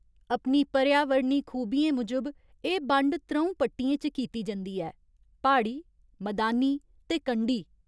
अपनी पर्यावरणी खूबियें मूजब एह् बंड त्र'ऊं पट्टियें च कीती जंदी ऐ प्हाड़ी, मदानी ते कंढी।